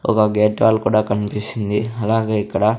ఒగ gate wall కూడా కన్పిస్తుంది అలాగే ఇక్కడ--